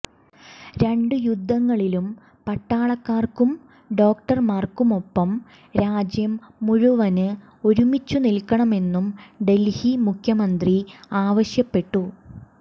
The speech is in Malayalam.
രണ്ട് യുദ്ധങ്ങളിലും പട്ടാളക്കാര്ക്കും ഡോക്ടര്മാര്ക്കുമൊപ്പം രാജ്യം മുഴുവന് ഒരുമിച്ചുനിൽക്കണമെന്നും ഡല്ഹി മുഖ്യമന്ത്രി ആവശ്യപ്പെട്ടു